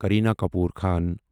Kareena Kapoor Khan